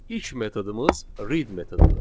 İlk metodumuz read metodudur.